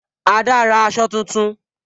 Ada ra aṣọ tuntun